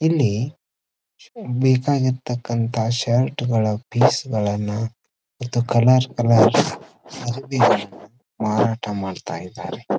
ಇಲ್ಲಿ ಬೇಕಾಗಿರತಕ್ಕಂಥ ಶರ್ಟ್ ಗಾಲ ಫೀಸ್ ಗಳನ್ನ ಇದು ಕಲರ್ ಕಲರ್ಸ್ ಅರಿವೇ ಮಾರಾಟ ಮಾಡ್ತಿದ್ದಾರೆ.